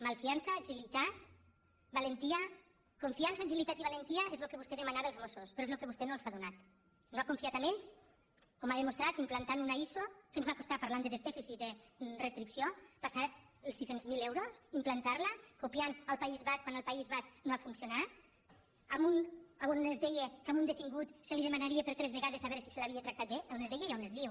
malfi·ança agilitat i valentia és el que vostè demana als mos·sos però és el que vostè no els ha donat no ha confiat en ells com ha demostrat implantant una iso que ens va costar parlant de despeses i de restricció passava dels sis cents miler euros implantar·la copiant del país basc quan al país basc no ha funcionat on es deia que a un detingut se li demanaria per tres vegades a veure si se l’havia tractat bé on es deia i on es diu